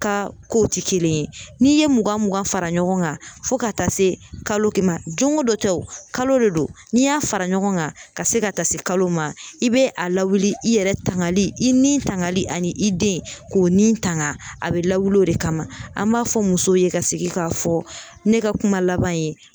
Ka kow tɛ kelen ye, n'i ye mugan mugan fara ɲɔgɔn kan fo ka taa se kalo kelen ma don o don tɛ, kalo de don, n'i y'a fara ɲɔgɔn kan ka se ka taa se kalo ma, i bɛ a lawuli i yɛrɛ tangali i nin tangali ani i den, k'o ni tanga a bɛ lawuli o de kama an b'a fɔ musow ye ka segin k'a fɔ ne ka kuma laban ye